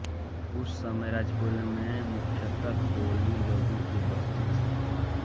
उस समय राजपुरी में मुख्यतः कोली लोगोंकी बस्ती थी